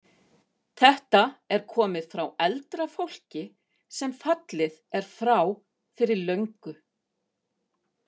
Þetta er komið frá eldra fólki sem fallið er frá fyrir löngu.